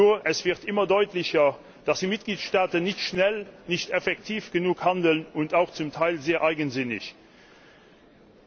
Aber es wird immer deutlicher, dass die Mitgliedstaaten nicht schnell und effektiv genug und auch zum Teil sehr eigensinnig handeln.